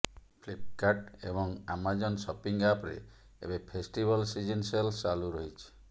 Flipkart ଏବଂ Amazon shopping app ରେ ଏବେ ଫେଷ୍ଟିବଲ ସିଜନ୍ ସେଲ୍ ଚାଲୁ ରହିଛି